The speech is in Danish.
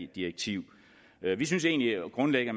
direktiv vi synes egentlig grundlæggende